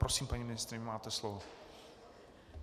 Prosím, paní ministryně, máte slovo.